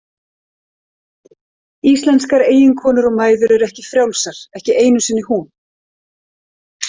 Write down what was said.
Íslenskar eiginkonur og mæður eru ekki frjálsar, ekki einu sinni hún.